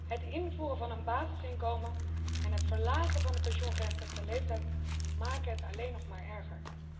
Het invoeren van een basisinkomen en het verlagen van de pensioengerechtigde leeftijd maken het alleen nog maar erger.